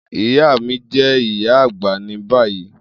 Iya mi jẹ iya agba ni bayi